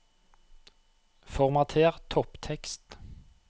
Formater topptekst